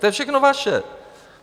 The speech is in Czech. To je všechno vaše.